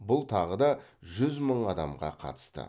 бұл тағы да жүз мың адамға қатысты